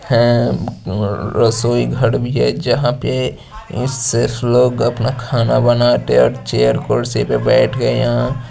हैं उम्म रसोई घर भी है जहाँ पे सिर्फ लोग अपना खाना बनाते और चेयर कुर्सी पे बैठकर यहाँ--